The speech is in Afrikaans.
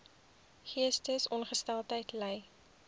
geestesongesteldheid ly